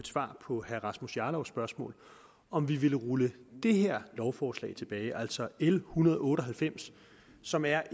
svar på herre rasmus jarlovs spørgsmål om vi ville rulle det her lovforslag tilbage det er altså l en hundrede og otte og halvfems som er